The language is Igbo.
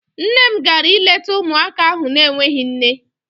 Nne m gara ileta ụmụaka ahụ n'enweghị nne.